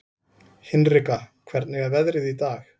Hinrika, hvernig er veðrið í dag?